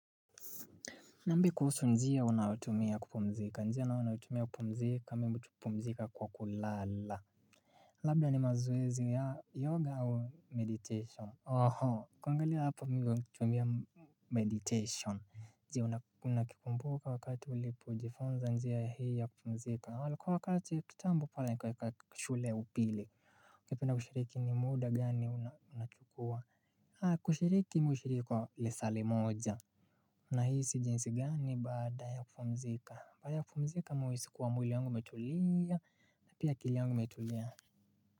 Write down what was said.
Nambie kuhusu njia unayotumia kupumzika njia nayo naitumia kupumzika mimi hupumzika kwa kulala. Labda ni mazoezi ya yoga au meditation. Oho kuangalia hapa mimi kituambia meditation. Njia unakipumbuka wakati ulipo jifunza njia hii ya kupumzika waliko wakati kitambo pale nikaweka shule upili. Mkipina kushiriki ni muda gani unachukua. Ha kushiriki mimi hushiriki kwa lisaa li moja. Na hizi jinsi gani baada ya kupumzika? Baada ya kupumzika mimi uhisi kuwa mwili yangu metulia na pia kili yangu imetulia.